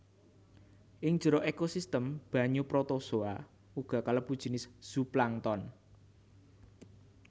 Ing jero ékosistem banyu protozoa uga kalebu jinis zooplankton